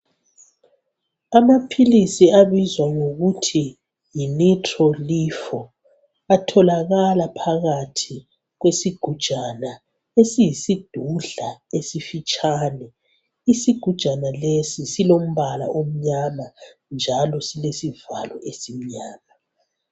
Amaphilisi abizwa ngokuthi yi nitrolflo atholakala phakathi kwesigujana esiyisidudla esifitshane. Isigujana lesi silombala omnyama njalo silesivalo esimnyama.